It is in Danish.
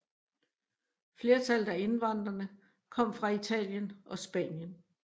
Flertallet af indvandrerne kom fra Italien og Spanien